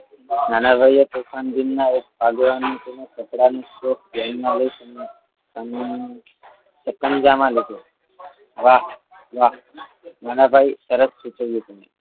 નાનાભાઈએ તોફાન દિનમા કચરાનું ધ્યાનમાં લઈ સતંગામાં લીધો વાહ વાહ નાનાભાઈ તરફ સૂચવ્યું